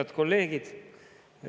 Head kolleegid!